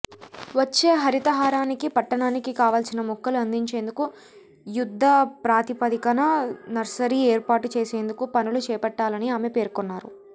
వచ్చే హరితహారానికి పట్టణానికి కావాల్సిన మొక్కలు అందించేందుకు యుద్ధ ప్రాతిపాదికన నర్సరీ ఏర్పాటు చేసేందుకు పనులు చేపట్టాలని ఆమె పేర్కొన్నారు